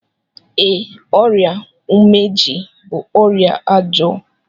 Ee, ọrịa umeji bú ọrịa ọjọọ.